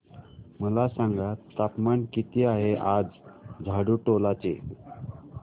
मला सांगा तापमान किती आहे आज झाडुटोला चे